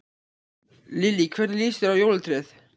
Lillý: Hvernig lýst þér á jólatréð?